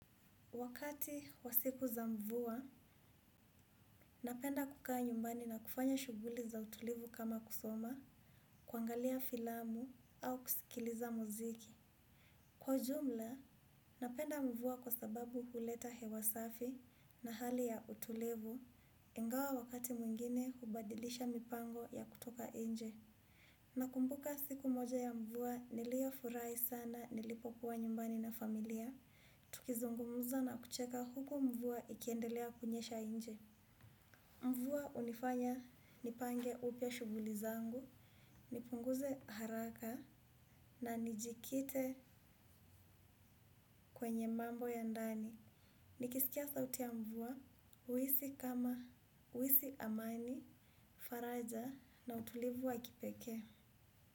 Wakati wa siku za mvua, napenda kukaa nyumbani na kufanya shughuli za utulivu kama kusoma, kuangalia filamu au kusikiliza muziki. Kwa ujumla, napenda mvua kwa sababu huleta hewa safi na hali ya utulivu, ingawa wakati mwingine hubadilisha mipango ya kutoka nje. Nakumbuka siku moja ya mvua niliyofurahi sana nilipokuwa nyumbani na familia. Tukizungumuza na kucheka huku mvua ikiendelea kunyesha nje. Mvua hunifanya nipange upya shughuli zangu, nipunguze haraka na nijikite kwenye mambo ya ndani. Nikisikia sauti ya mvua, huhisi kama, huhisi amani, faraja na utulivu wa kipekee.